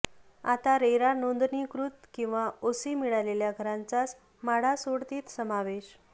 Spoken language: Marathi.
आता रेरा नोंदणीकृत किंवा ओसी मिळालेल्या घरांचाच म्हाडा सोडतीत समावेश